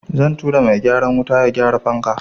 Zan turo mai gyaran wuta ya gyara fanka.